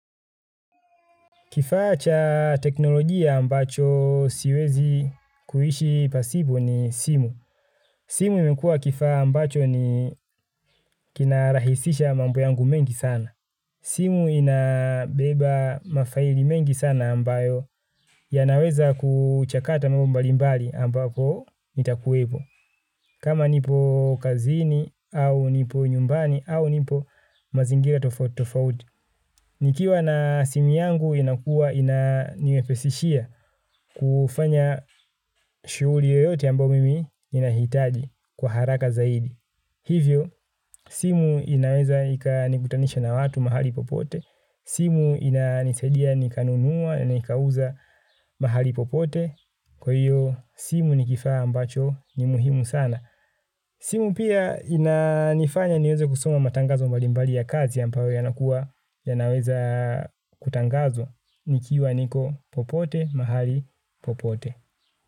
Kifaa cha teknolojia ambacho siwezi kuishi pasipo ni simu. Simu imekua kifaa ambacho ni kinarahisisha mambo yangu mengi sana. Simu inabeba mafaili mengi sana ambayo yanaweza kuchakata mambo mbali mbali ambako nitakuwepo. Kama nipo kazini au nipo nyumbani au nipo mazingira tofauti tofauti nikiwa na simu yangu inakua ina niwepesishia kufanya shuhuli yoyote ambao mimi nahitaji kwa haraka zaidi. Hivyo, simu inaweza ikanikutanisha na watu mahali popote. Simu inanisaidia nikanunua na nikauza mahali popote. Kwa hiyo, simu ni kifaa ambacho ni muhimu sana. Simu pia inanifanya niweze kusoma matangazo mbalimbali ya kazi, ambayo yanakuwa, yanaweza kutangazwa, nikiwa niko popote, mahali popote.